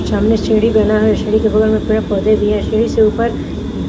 सामने सीढी बना है सीढी के बगल में पेड़ पोधे भी है सीढी से ऊपर --